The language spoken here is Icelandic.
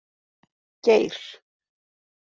Geir